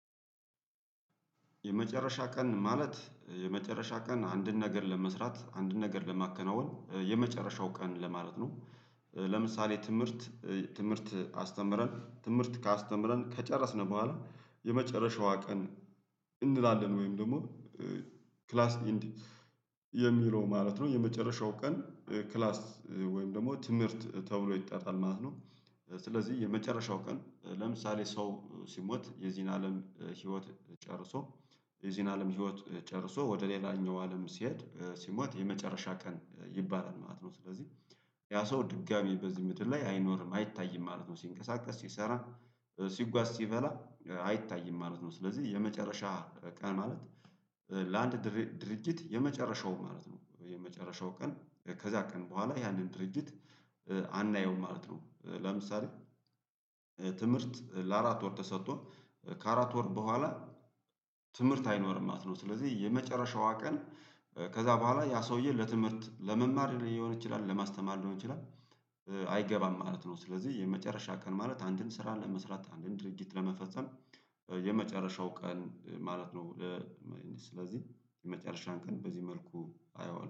የመጨረሻ ቀን ማለት የመጨረሻ ቀን አንድን ነገር ለመስራት አንድን ነገር ለማከናወን የመጨረሻው ቀን ለማለት ነው። ለምሳሌ ትምህርት ትምህርት አስተምረን ትምህርት ከ አስተምረን ከጨረስን በኋላ የመጨረሻዋ ቀን እንላለን ወይም ደግሞ ክላስ ኢንዲ የሚለው ማለት ነው የመጨረሻው ቀን ክላስ ወይም ደግሞ ትምህርት ተብሎ ይጠራል ማለት ነው። ስለዚህ የመጨረሻው ቀን ለምሳሌ ሰው ሲሞት የዚህን አለም ህይወት ጨርሶ የዚህን አለም ህይወት ጨርሶ ወደ ሌላኛው አለም ሲሄድ ሲሞት የመጨረሻ ቀን ይባላል ማለት ነው። ስለዚህ ያ ሰው ድጋሚ በዚህ ምድር ላይ አይኖርም አይታይም ማለት ነው ሲንቀሳቀስ ሲሰራ ሲጓዝ ሲበላ አይታይም ማለት ነው። ስለዚህ የመጨረሻ ቀን ማለት ለአንድ ድርጅት የመጨረሻው ማለት ነው የመጨረሻው ቀን ከዛ ቀን በኋላ ያንን ድርጅት አናየውም ማለት ነው። ለምሳሌ ትምህርት ለአራት ወር ተሰጥቶን ከአራት ወር በኋላ ትምህርት አይኖርም ማለት ነው። ስለዚህ የመጨረሻዋ ቀን ከዛ በኋላ ያ ሰውዬ ለትምህርት ለመማር ሊሆን ይችላል ለማስተማር ሊሆን ይችላል አይገባም ማለት ነው። ስለዚህ የመጨረሻ ቀን ማለት አንድን ስራ ለመስራት አንድን ድርጅት ለመፈጸም የመጨረሻው ቀን ማለት ነው። ስለዚህ የመጨረሻን ቀን በዚህ መልኩ አየዋለሁ